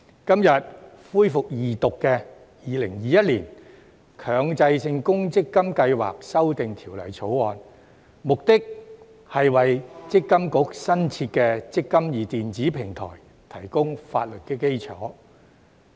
今天恢復二讀的《2021年強制性公積金計劃條例草案》，目的是為強制性公積金計劃管理局新設的"積金易"電子平台提供法律基礎。